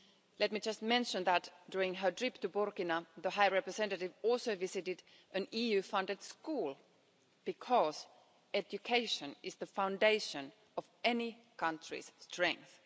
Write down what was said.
Let me just mention that during her trip to Burkina, the High Representative also visited an EU funded school, because education is the foundation of any country's strength.